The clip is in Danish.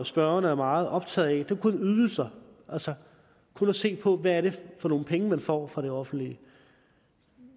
spørgeren er meget optaget af er kun ydelser altså kun at se på hvad det er for nogle penge folk får fra det offentlige